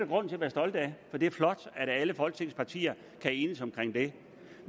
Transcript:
grund til at være stolt af for det er flot at alle folketingets partier kan enes om det